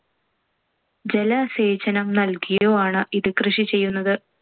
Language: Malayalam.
ജലസേചനം നൽകിയോ ആണ്‌ ഇത് കൃഷി ചെയ്യുന്നത്.